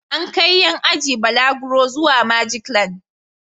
An kai ƴan ajin balaguro zuwa Majiklan.